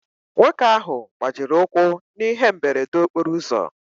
Nwoke ahụ gbajiri ụkwụ na ihe mberede okporo ụzọ.